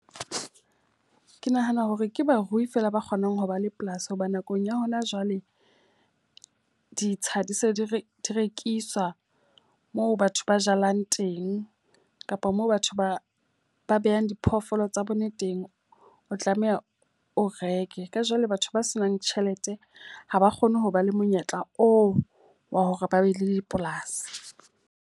Ke nahana hore ke barui feela ba kgonang ho ba le polasi. Hoba nakong ya hona jwale ditsha di se di rekiswa, moo batho ba jalang teng kapa moo batho ba behang diphoofolo tsa bone teng, o tlameha o reke. Ka jwale batho ba senang tjhelete ha ba kgone ho ba le monyetla oo wa hore ba be le dipolasi.